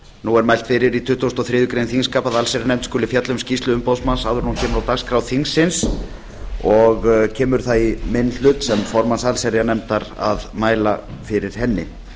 nú er mælt fyrir í tuttugasta og þriðju greinar þingskapa að allsherjarnefnd skuli fjalla um skýrslu umboðsmanns áður en hún kemur á dagskrá þingsins og kemur það í minn hlut sem formanns allsherjarnefndar að mæla fyrir henni